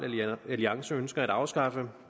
alliance ønsker at afskaffe